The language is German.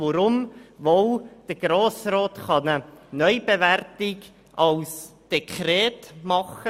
Weshalb wohl kann der Grosse Rat eine Neubewertung aufgrund eines Dekrets veranlassen?